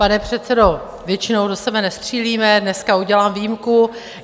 Pane předsedo, většinou do sebe nestřílíme, dneska udělám výjimku.